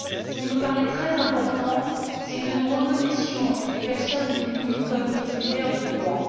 Ce qui me paraît très important, c'est que nous reconnaissions les personnes démunies comme des titulaires de droits.